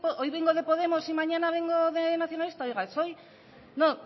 hoy vengo de podemos y mañana vengo de nacionalista oiga yo soy no